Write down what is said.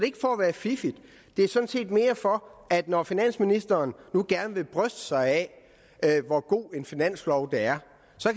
ikke for at være fiffig det er sådan set mere for at at når finansministeren nu gerne vil bryste sig af hvor god en finanslov det er